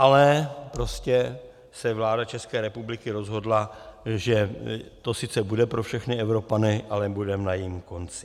Ale prostě se vláda České republiky rozhodla, že to sice bude pro všechny Evropany, ale budeme na jejím konci.